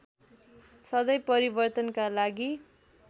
सधैँ परिवर्तनका लागि